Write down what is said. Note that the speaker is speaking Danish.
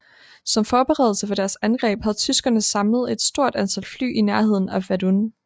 Som forberedelse for deres angreb havde tyskerne samlet et stort antal fly i nærheden af Verdun